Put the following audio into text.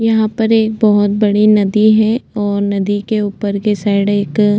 यहाँ पर एक बहुत बड़ी नदी है और नदी के ऊपर में साइड एक --